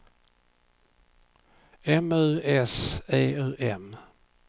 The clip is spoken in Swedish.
M U S E U M